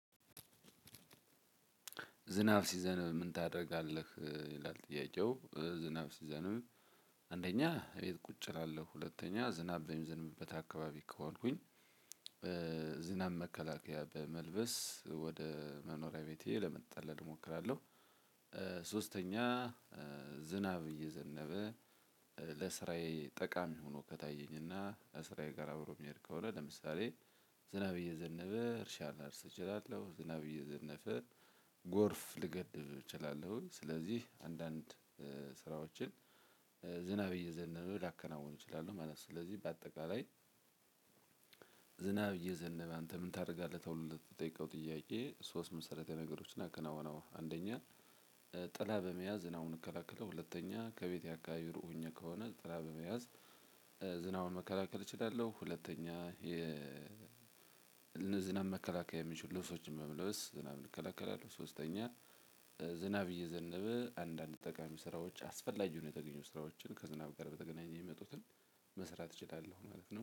ዝናብ ሲዘነብ ምን ታደርጋለህ? ይላል ጥያቄው። ዝናብ ሲዘነብ አንደኛ እቤት ቁጭ እላለሁ። ሁለተኛ ዝናብ በሚዘንብበት አካባቢ ከዋልኩኝ። ዝናብ መከላከያ በመልበስ ወደ መኖሪያ ቤቴ ለመጣለል እሞክራለሁ። ሶስተኛ ዝናብ እየዘነበ ለስራዬ ጠቃሚ ሆኖ ከታየኝና ከስራዬ ጋር አብሮ የሚሄድ ከሆነ ለምሳሌ ዝናብ እየዘነበ እርሻን ላርስ እችላለሁ። ዝናብ እየዘነፈ ጎርፍ ልገድብ እችላለሁ። ስለዚህ አንዳንድ ስራዎችን ዝናብ እየዘነበ ላከናውን እችላለሁ ማለት ነው። ስለዚህ በአጠቃላይ። ዝናብ እየዘነበ አንተ ምንታደርጋለህ? ተብሎ ለተጠየቀው ጥያቄ ሶስት መሰረታዊ ነገሮቺን አከናውናለሁ። አንደኛ ጥላ በመያዝ ዝናቡን እከላከለው። ሁለተኛ ከቤቴ አካባቢ ሩቅኝ ከሆነ ጥላ በመያዝ ዝናቡን መከላከል እችላለሁ። ሁለተኛ የ ዝናብ መከላከያ የሚችሉ ልብሶችን መልበስ ዝናብን እንከለከላለሁ። ሶስተኛ ዝናብ እየዘነበ አንዳንድ ጠቃሚ ስራዎች አስፈላጊ የሆኑ የተገኘው ስራዎችን ከዝናብ ጋር በተገናኘ የሚመጡትን መስራት እችላለሁ ማለት ነው